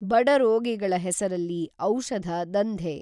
ಬಡರೋಗಿಗಳ ಹೆಸರಲ್ಲಿ ಔಷಧ ದಂಧೆ.